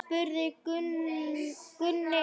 spurði Gunni.